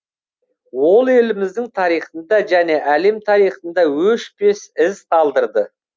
ол еліміздің тарихында және әлем тарихында өшпес із қалдырды